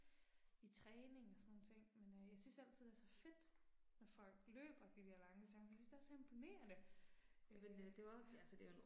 I træning og sådan nogle ting men øh jeg synes altid det er så fedt når folk løber de der lange distancer for jeg synes det er så imponerende, øh ja